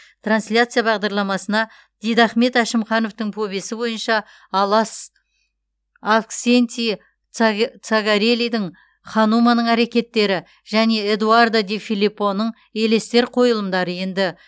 трансляция бағдарламасына дидахмет әшімхановтың повесі бойынша алас авксентий цаге цагарелидің хануманың әрекеттері және эдуардо де филиппоның елестер қойылымдары енді